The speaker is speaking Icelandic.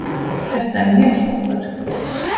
Þetta er mjög flott verk.